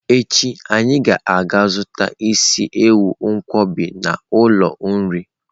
Echi anyi ga-aga zuta isi ewu nkwobj n'ulo nri.